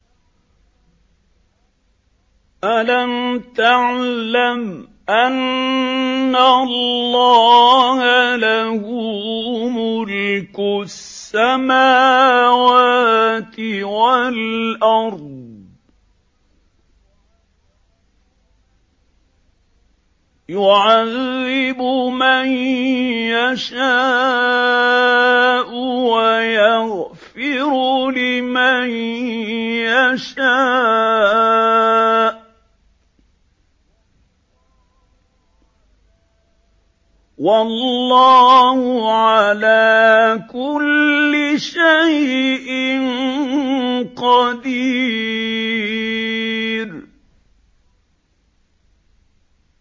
أَلَمْ تَعْلَمْ أَنَّ اللَّهَ لَهُ مُلْكُ السَّمَاوَاتِ وَالْأَرْضِ يُعَذِّبُ مَن يَشَاءُ وَيَغْفِرُ لِمَن يَشَاءُ ۗ وَاللَّهُ عَلَىٰ كُلِّ شَيْءٍ قَدِيرٌ